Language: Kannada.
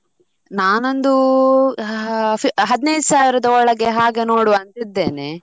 ನಾನೊಂದು ಹ~ ಹ~ ಹದ್ನೈದು ಸಾವಿರದ ಒಳಗೆ ಹಾಗೆ ನೋಡುವ ಅಂತ ಇದ್ದೇನೆ.